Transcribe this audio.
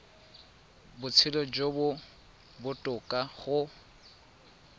botshelo jo bo botoka go